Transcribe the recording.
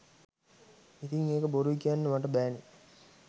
ඉතිං ඒක බොරුයි කියන්න මට බෑනෙ